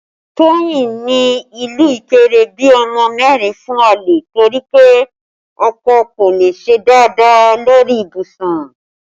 Toyin ní ìlú Ikire bí ọmọ mẹ́rin fún àlè torí pé ọkọ kò le ṣe dáadáa lórí ibùsùn